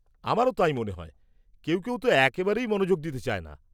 -আমারও তাই মনে হয়, কেউ কেউ তো একেবারেই মনোযোগ দিতে চায় না।